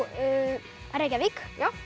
Reykjavík